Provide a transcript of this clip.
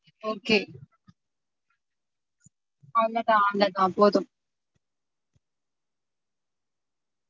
Okay அவ்ளோ தான் அவ்ளோ தான் போதும்